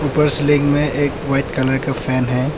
ऊपर सीलिंग में एक वाइट कलर का फैन है।